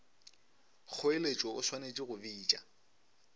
kgoeletšo o swanetše go bitša